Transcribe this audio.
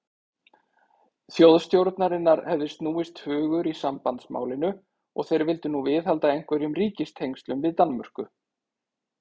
Þjóðstjórnarinnar hefði snúist hugur í sambandsmálinu, og þeir vildu nú viðhalda einhverjum ríkistengslum við Danmörku.